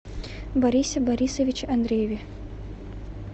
борисе борисовиче андрееве